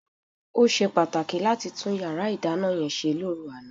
Ó ṣe pàtàkì láti tún yàrá ìdáná yẹn ṣe lóru àná.